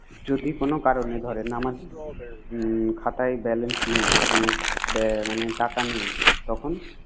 যদি কোন কারনে ধরেন আমার খাতায় balance নেই। বে মানে টাকা নেই। তখন